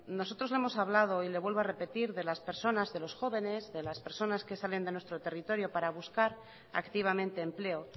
nosotros lo hemos hablado y le vuelvo a repetir de las personas de los jóvenes de las personas que sales de nuestro territorio para buscar activamente empleo